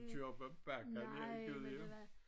Kører op ad bakkerne her i Gudhjem